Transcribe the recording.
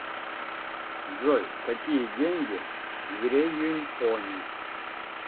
джой какие деньги в реюньоне